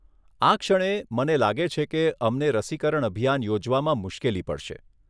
આ ક્ષણે, મને લાગે છે કે, અમને રસીકરણ અભિયાન યોજવામાં મુશ્કેલી પડશે